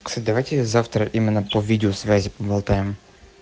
кстати давайте завтра именно по видеосвязи поболтаем